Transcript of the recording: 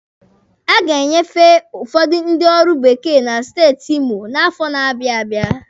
A ga-enyefe ụfọdụ ndị ọrụ bekee na steeti Imo n'afọ na-abịa abịa.